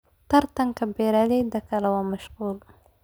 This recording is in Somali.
Tartanka beeralayda kale waa mashquul.